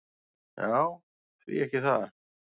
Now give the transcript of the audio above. Já, hví ekki það?